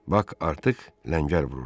Bak artıq ləngər vururdu.